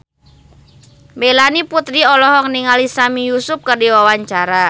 Melanie Putri olohok ningali Sami Yusuf keur diwawancara